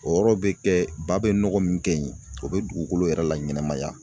O yɔrɔ be kɛ ba be nɔgɔ min kɛ yen o be dugukolo yɛrɛ laɲɛnɛmaya.